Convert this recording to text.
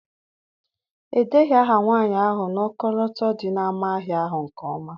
Edeghị aha nwanyị ahụ n'ọkọlọtọ dị n'ámá ahịa ahụ nke ọma.